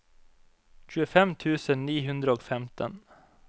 tjuefem tusen ni hundre og femten